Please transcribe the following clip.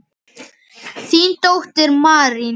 Þín dóttir, Marín.